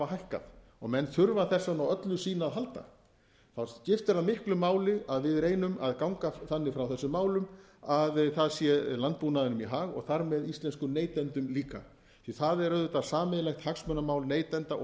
hækkað og menn þurfa þess vegna á öllu sínu að halda þá skiptir það miklu máli að við reynum að ganga þannig frá þessum málum að það sé landbúnaðinum í hag og þar með íslenskum neytendum líka því að það er auðvitað sameiginlegt hagsmunamál neytenda og